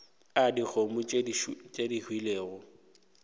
a dikgomo tše di hwilego